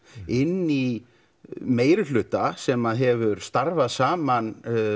inn í meiri hluta sem hefur starfað saman